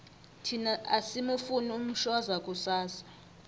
thina asimufuni umshoza kusasa